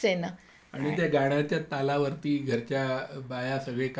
त्या गाण्याच्या तालावरती घरच्या बाया सगळी काम करायची